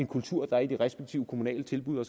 kultur der er i de respektive kommunale tilbud og